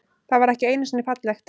Það var ekki einusinni fallegt.